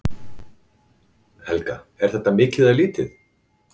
Helga: Er þetta mikið eða lítið?